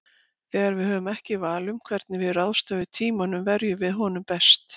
Þegar við höfum ekki val um það hvernig við ráðstöfum tímanum verjum við honum best.